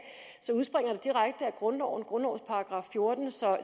grundloven af grundlovens § fjorten så